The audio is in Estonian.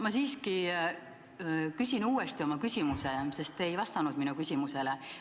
Ma siiski küsin uuesti oma küsimuse, sest te ei vastanud minu küsimusele.